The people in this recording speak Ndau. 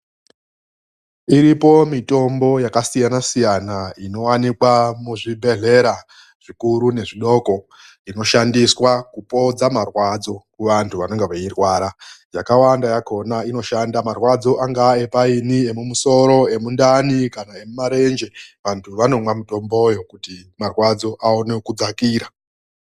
Iripo mitombo yakasiyana siyana inowanikwa muzvibhedhlera zvikuru nezvidoko inoshandiswa kupodza marwadzo kuvantu vanenge veirwara. Yakawanda yakona inoshanda marwadzo angaa epaini emumusoro, emundani kana emumarenje. Vantu vanomwa mitomboyo kuti marwadzo awone kudzakira.